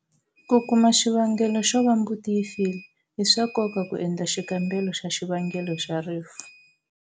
Ku kuma xivangelo xo va mbuti yi file, i swa nkoka ku endla xikambelo xa xivangelo xa rifu.